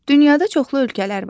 Dünyada çoxlu ölkələr var.